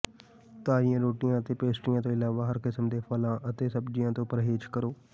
ਤਾਜ਼ੀਆਂ ਰੋਟੀਆਂ ਅਤੇ ਪੇਸਟਰੀਆਂ ਤੋਂ ਇਲਾਵਾ ਹਰ ਕਿਸਮ ਦੇ ਫਲਾਂ ਅਤੇ ਸਬਜ਼ੀਆਂ ਤੋਂ ਪਰਹੇਜ਼ ਕਰੋ